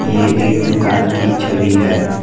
ये एक दुकान की छवि है।